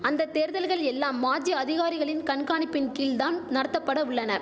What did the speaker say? அந்த தேர்தல்கள் எல்லாம் மாஜி அதிகாரிகளின் கண்காணிப்பின் கீழ் தான் நடத்தபட உள்ளன